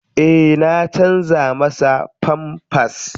Eh na canja masa famfas.